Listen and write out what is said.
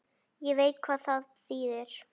Ég veit hvað það þýðir.